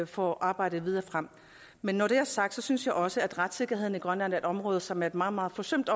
for arbejdet videre frem men når det er sagt synes jeg også at retssikkerheden i grønland er et område som er meget meget forsømt